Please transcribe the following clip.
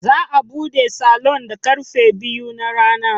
Za a bude salon da karfe biyu na rana.